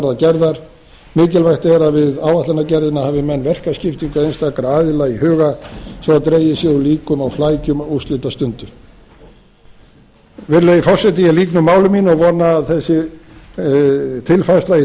þau verða gerðar mikilvægt er að við áætlanagerðina hafi menn verkaskiptingu einstakra aðila í huga svo dregið sé úr líkum og flækjum á úrslitastundu virðulegi forseti ég lýk máli mínu og vona að þessi tilfærsla í